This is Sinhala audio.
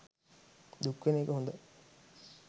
දුක් වෙන එක හොඳයි.